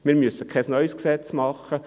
Wir müssen kein neues Gesetz machen.